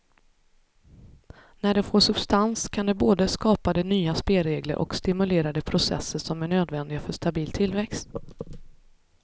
När det får substans kan det både skapa de nya spelregler och stimulera de processer som är nödvändiga för stabil tillväxt.